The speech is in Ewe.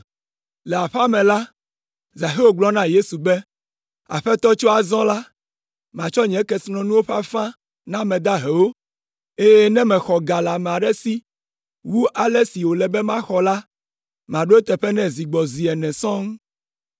Le aƒea me la, Zaxeo gblɔ na Yesu be, “Aƒetɔ tso azɔ la, matsɔ nye kesinɔnuwo ƒe afã na ame dahewo, eye ne mexɔ ga le ame aɖe si wu ale si wòle be maxɔ la, maɖo eteƒe nɛ zi gbɔ zi ene sɔŋ!”